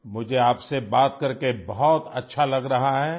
مجھے آپ سے بات کرکے بہت اچھا لگ رہا ہے